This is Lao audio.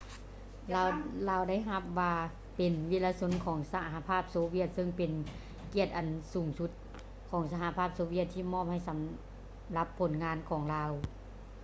ລາວໄດ້ຮັບວ່າເປັນ ວິລະຊົນຂອງສະຫະພາບໂຊວຽດ ເຊິ່ງເປັນກຽດອັນສູງທີ່ສຸດຂອງສະຫະພາບໂຊວຽດທີ່ມອບໃຫ້ສຳລັບຜົນງານຂອງລາວ